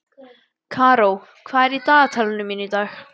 Karó, hvað er á dagatalinu mínu í dag?